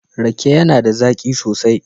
Rake yAna da zaki sosai